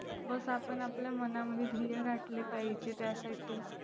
बस आपण आपल्या मनामध्ये ध्येय गाठले पाहिजे त्यासाठी.